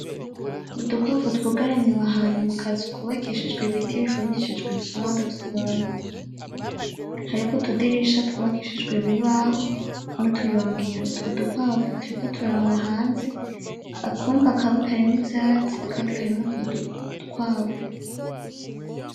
Udukwavu twugaraniwe ahantu mu kazu kubakishijwe ibiti ifumishijwe ivyondo vy’ibumba hariko utudirisha twubakishijwe ibibaho n’utuyungiro utwo dukwavu turiko turaraba hanze ,akumba kamwe karimwo utwatsi akandi karimwo utwo dukwavu.